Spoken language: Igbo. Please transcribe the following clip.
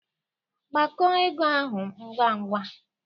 Gbakọọ ego ahụ ngwa ngwa!